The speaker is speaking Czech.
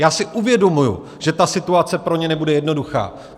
Já si uvědomuji, že ta situace pro ně nebude jednoduchá.